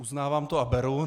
Uznávám to a beru.